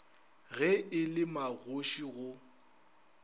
ge e le magoši go